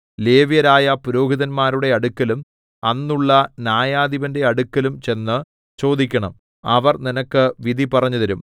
ലേവ്യരായ പുരോഹിതന്മാരുടെ അടുക്കലും അന്നുള്ള ന്യായാധിപന്റെ അടുക്കലും ചെന്ന് ചോദിക്കണം അവർ നിനക്ക് വിധി പറഞ്ഞുതരും